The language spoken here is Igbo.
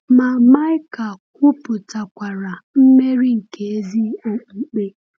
Ma Maịka kwupụtakwara mmeri nke ezi okpukpe.